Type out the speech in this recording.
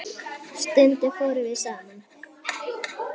Arnar er sexí gaur.